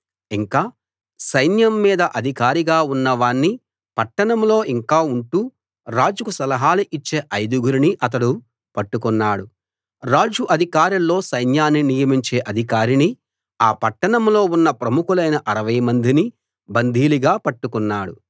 ఇంకా సైన్యం మీద అధికారిగా ఉన్న వాణ్ణి పట్టణంలో ఇంకా ఉంటూ రాజుకు సలహాలు ఇచ్చే ఐదుగురినీ అతడు పట్టుకున్నాడు రాజు అధికారుల్లో సైన్యాన్ని నియమించే అధికారినీ ఆ పట్టణంలో ఉన్న ప్రముఖులైన 60 మందినీ బందీలుగా పట్టుకున్నాడు